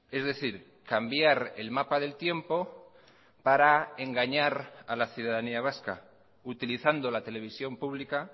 es decir cambiar el mapa del tiempo para engañar a la ciudadanía vasca utilizando la televisión pública